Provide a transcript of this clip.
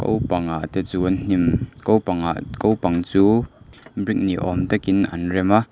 ko pangah te chuan hnim ko pang ah ko pang chu brick ni awm takin an rem a.